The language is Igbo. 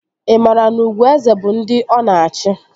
Ị maara na ugwu eze bụ ndị ọ na-achị?